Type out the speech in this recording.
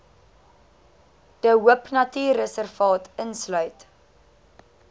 de hoopnatuurreservaat insluit